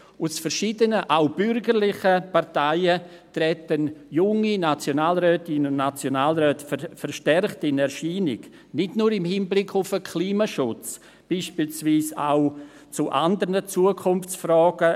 Aus verschiedenen, auch bürgerlichen Parteien treten junge Nationalrätinnen und Nationalräte verstärkt in Erscheinung – nicht nur im Hinblick auf den Klimaschutz, sondern beispielsweise auch bezüglich anderer Zukunftsfragen.